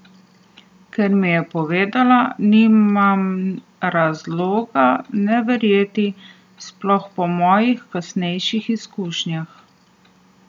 Kar mi je povedala, nimam razloga ne verjeti, sploh po mojih kasnejših izkušnjah.